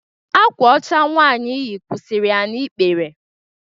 Akwa ọcha nwaanyi yi kwụsịrị ya n'ikpere.